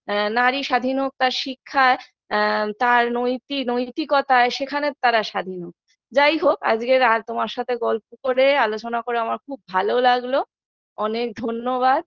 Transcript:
আ নারী স্বাধীন হোক তার শিক্ষা তার আ নৈতি নৈতিকতায় সেখানে তারা স্বাধীন হোক যাই হোক আজগে আর তোমার সাথে গল্প করে আলোচনা করে আমার খুব ভালো লাগলো অনেক ধন্যবাদ